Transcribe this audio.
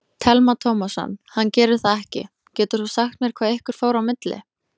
Telma Tómasson: Hann gerir það ekki, getur þú sagt mér hvað ykkur fór á milli?